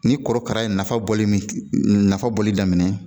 Ni korokara ye nafa bɔli min nafa bɔli daminɛ